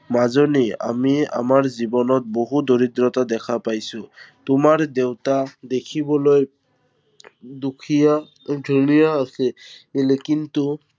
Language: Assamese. মাজনী, আমি আমাৰ জীৱনত বহু দৰিদ্ৰতা দেখা পাইছো। তোমাৰ দেউতা দেখিবলৈ দুখীয়া, ধুনীয়া আছিল কিন্তু